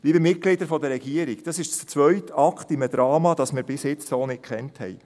Liebe Mitglieder der Regierung, dies ist der zweite Akt in einem Drama, welches wir so bisher nicht kannten.